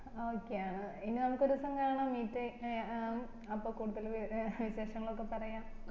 ആ okay ആണ് ഇനി നമ്മക് ഒരു ദിവസം കാണാം meet ടൈ ഏർ ആ അപ്പൊ കൂടുതല് വിശേഷങ്ങളൊക്കെ പറയാം